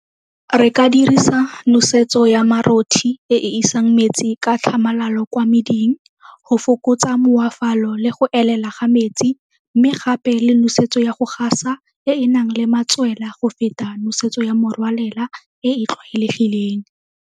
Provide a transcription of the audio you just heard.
Re ka dirisa nosetso ya e e isang metsi ka tlhamalalo kwa meding go fokotsa le go elela ga metsi mme gape le nosetso ya go gasa e e nang le matswela go feta nosetso ya morwalela e e tlwaelegileng.